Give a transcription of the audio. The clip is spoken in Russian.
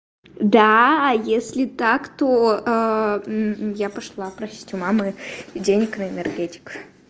да если так то я пошла просить у мамы денег на энергетик